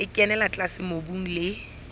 e kenella tlase mobung le